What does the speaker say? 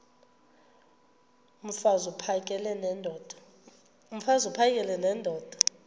mfaz uphakele nendoda